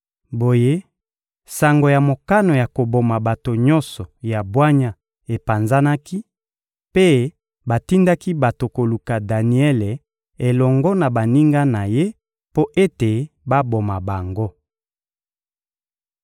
Boye, sango ya mokano ya koboma bato nyonso ya bwanya epanzanaki, mpe batindaki bato koluka Daniele elongo na baninga na ye mpo ete baboma bango.